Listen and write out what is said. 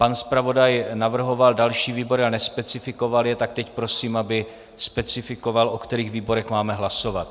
Pan zpravodaj navrhoval další výbory a nespecifikoval je, tak teď prosím, aby specifikoval, o kterých výborech máme hlasovat.